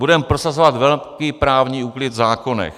Budeme prosazovat velký právní úklid v zákonech.